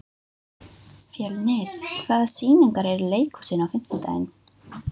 Fjörnir, hvaða sýningar eru í leikhúsinu á fimmtudaginn?